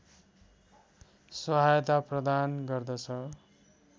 सहायता प्रदान गर्दछ